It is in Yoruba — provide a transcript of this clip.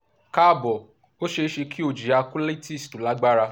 káàbọ̀ ó ṣe é ṣe kí o jìyà colitis tó lágbára